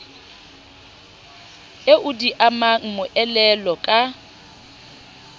eo di amang moelolo ka